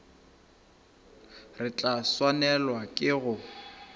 re tla swanelwa ke go